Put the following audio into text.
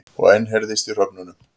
Og enn heyrðist í hröfnunum.